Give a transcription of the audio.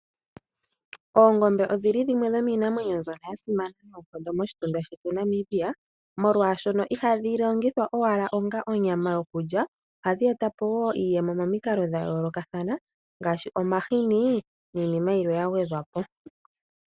Oongombe odhi li dhimwe dhomiinamwenyo mbyono ya simana noonkondo moshitunda shetu Namibia, molwaashono ihadhi longithwa owala onga onyama yokulya, ohadhi e ta po wo iiyemo momikalo dha yoolokathana ngaashi omahini niinima yilwe ya gwedhwa po.